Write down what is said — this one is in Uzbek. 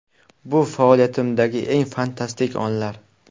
Bu faoliyatimdagi eng fantastik onlar.